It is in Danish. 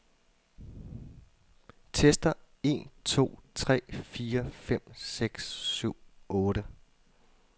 Tester en to tre fire fem seks syv otte.